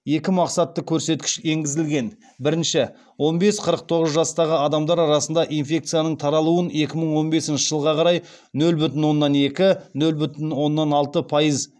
екі мақсатты көрсеткіш енгізілген біріншісі он бес қырық тоғыз жастағы адамдар арасында инфекцияның таралуын екі мың он бесінші жылға қарай нөл бүтін оннан екі нөл бүтін оннан алты пайыз